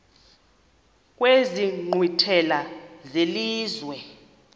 kwezi nkqwithela zelizwe